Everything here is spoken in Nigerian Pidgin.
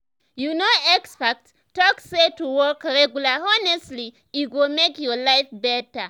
you know experts talk say to walk regular honestly e go make your life better.